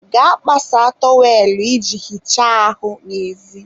gaa kpasaa tọwelụ i ji hichaa ahụ n'ezi.